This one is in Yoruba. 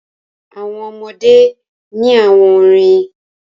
Àwọn ọmọdé ní àwọn orin.